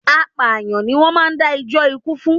Apàyàǹ ni wón máa ń dá jó ikú fún.